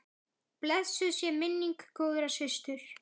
Blessuð sé minning góðrar systur.